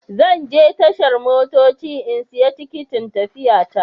Zan je tashar motoci in siya tikitin tafiya ta.